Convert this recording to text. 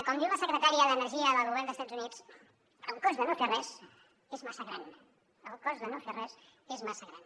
com diu la secretària d’energia del govern d’estats units el cost de no fer res és massa gran el cost de no fer res és massa gran